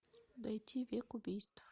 найти век убийств